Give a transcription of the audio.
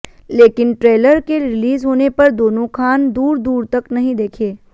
लेकिन ट्रेलर के रिलीज होने पर दोनों खान दूर दूर तक नहीं दिखे